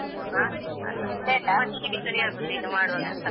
ಹಾ ಅಲ್ಲ ಮಧ್ಯಾಹ್ನಕ್ಕೆ ಸರಿ ಆಗುತ್ತೆ ಈಗ ಮಾಡುವಾಗ ಅಂತ.